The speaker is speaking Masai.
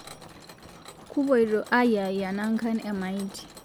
Kupoito aayiaya nangan emaiti